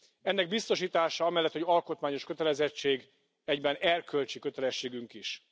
Ennek biztosítása, amellett, hogy alkotmányos kötelezettség, egyben erkölcsi kötelességünk is.